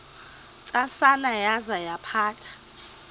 ntsasana yaza yaphatha